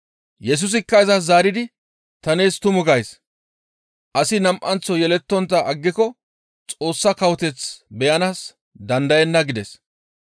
Yesusikka izas zaaridi, «Ta nees tumu gays; asi nam7anththo yelettontta aggiko Xoossa kawoteth beyanaas dandayenna» gides.